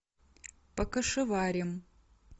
покашеварим